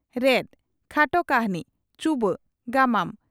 "ᱨᱮᱫ" (ᱠᱷᱟᱴᱚ ᱠᱟᱹᱦᱱᱤ) ᱪᱩᱵᱟᱹᱜ (ᱜᱟᱢᱟᱢ)